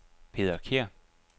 Peder Kjær